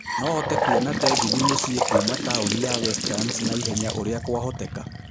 no hote kũona tegithi mũciĩ kuuma taũni ya westlands naihenya ũria kwahoteka